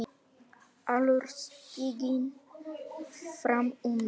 Allur stiginn fram undan.